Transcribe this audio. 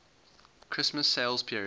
christmas sales period